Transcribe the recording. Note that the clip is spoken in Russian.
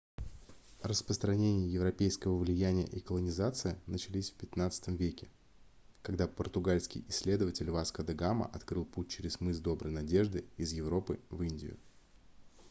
распространение европейского влияния и колонизация начались в xv веке когда португальский исследователь васко де гама открыл путь через мыс доброй надежды из европы в индию